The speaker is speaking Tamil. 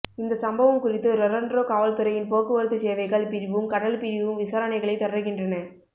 இந்த சம்பவம் குறித்து ரொறன்ரோ காவல்துறையின் போக்குவரத்து சேவைகள் பிரிவும் கடல் பிரிவும் விசாரணைகளை தொடர்கின்றனர்